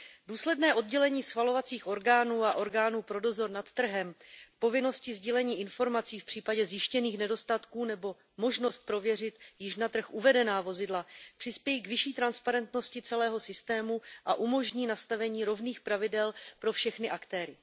Důsledné oddělení schvalovacích orgánů a orgánů pro dozor nad trhem, povinnosti sdílení informací v případě zjištěných nedostatků nebo možnost prověřit již na trh uvedená vozidla přispějí k vyšší transparentnosti celého systému a umožní nastavení rovných pravidel pro všechny aktéry.